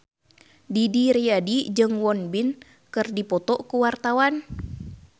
Didi Riyadi jeung Won Bin keur dipoto ku wartawan